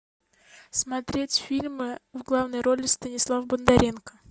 смотреть фильмы в главной роли станислав бондаренко